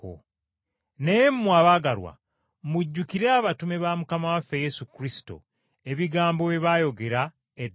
Naye mmwe, abaagalwa, mujjukire abatume ba Mukama waffe Yesu Kristo ebigambo bye baayogera edda